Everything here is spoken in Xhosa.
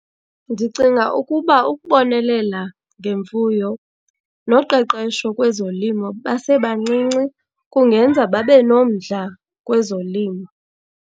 Ndicinga ukuba ukubonelela ngemfuyo noqeqesho kwezolimo basebancinci kungenza babe nomdla kwezolimo.